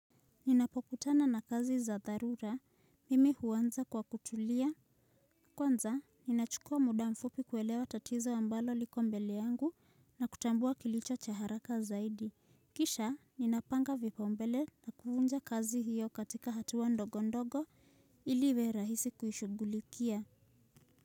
Ninapokutana na kazi za dharura, mimi huanza kwa kutulia. Kwanza, ninachukua muda mfupi kuelewa tatizo ambalo liko mbele yangu na kutambua kilicho cha haraka zaidi. Kisha, ninapanga vipao mbele na kuvunja kazi hiyo katika hatua ndogo ndogo ili iwe rahisi kuishugulikia.